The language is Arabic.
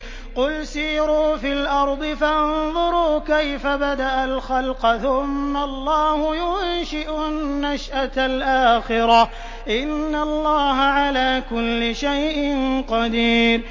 قُلْ سِيرُوا فِي الْأَرْضِ فَانظُرُوا كَيْفَ بَدَأَ الْخَلْقَ ۚ ثُمَّ اللَّهُ يُنشِئُ النَّشْأَةَ الْآخِرَةَ ۚ إِنَّ اللَّهَ عَلَىٰ كُلِّ شَيْءٍ قَدِيرٌ